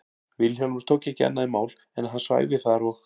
Vilhjálmur tók ekki annað í mál en að hann svæfi þar og